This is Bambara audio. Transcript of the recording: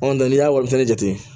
n'i y'a wuguba nɛgɛ jateminɛ